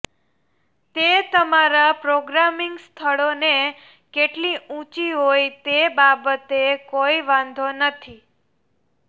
તે તમારા પ્રોગ્રામિંગ સ્થળોને કેટલી ઊંચી હોય તે બાબતે કોઈ વાંધો નથી